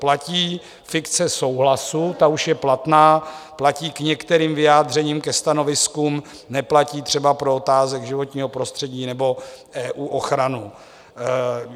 Platí fikce souhlasu, ta už je platná, platí k některým vyjádřením, ke stanoviskům, neplatí třeba pro otázky životního prostředí nebo EU ochranu.